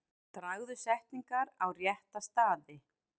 Dragðu setningar á rétta staði.